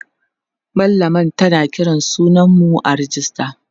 mallamar tana Kiran sunan mu a rejista